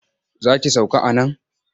Za ki sauka a nan?